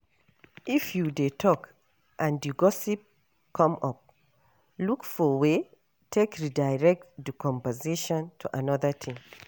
If you dey talk and di gossip come up, look for way take redirect di conversation to anoda thing